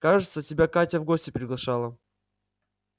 кажется тебя катя в гости приглашала